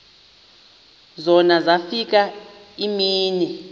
zona zafika iimini